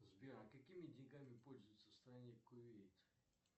сбер а какими деньгами пользуются в стране кувейт